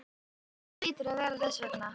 Það hlýtur að vera þess vegna.